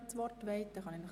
– Das ist der Fall.